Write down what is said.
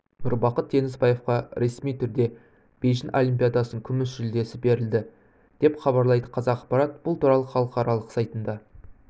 нұрбақыт теңізбаевқа ресми түрде бейжің олимпиадасының күміс жүлдесі берілді деп хабарлайды қазақпарат бұл туралы халықаралық сайтында